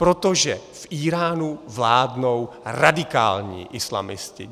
Protože v Íránu vládnou radikální islamisti.